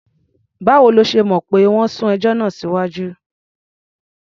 Báwo lo ṣe mọ̀ pé wọ́n sún ẹjọ́ náà síwájú?